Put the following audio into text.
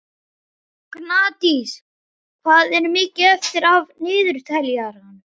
Gnádís, hvað er mikið eftir af niðurteljaranum?